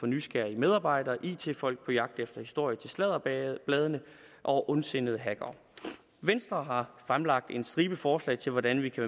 nysgerrige medarbejdere it folk på jagt efter historier til sladderbladene og ondsindede hackere venstre har fremlagt en stribe forslag til hvordan vi kan